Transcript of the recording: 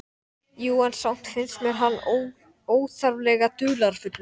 Jú, en samt finnst mér hann óþarflega dularfullur.